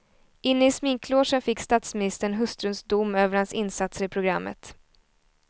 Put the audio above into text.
Inne i sminklogen fick statsministern hustruns dom över hans insatser i programmet.